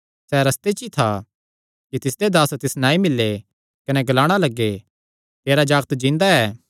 सैह़ रस्ते च ई था कि तिसदे दास तिस नैं आई मिल्ले कने ग्लाणा लग्गे तेरा जागत जिन्दा ऐ